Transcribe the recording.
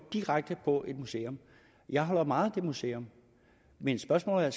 på ét museum jeg holder meget af det museum men spørgsmålet er